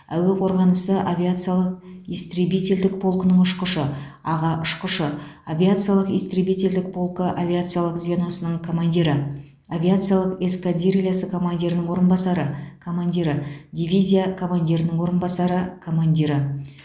әуе қорғанысы авиациялық истребительдік полкының ұшқышы аға ұшқышы авиациялық истребителдік полкы авиациялық звеносының командирі авиациялық эскадрильясы командирінің орынбасары командирі дивизия командирінің орынбасары командирі